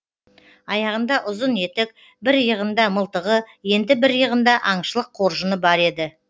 аяғында ұзын етік бір иығында мылтығы енді бір иығында аңшылық қоржыны бар еді